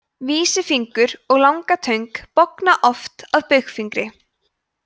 vísifingur og langatöng bogna oft að baugfingri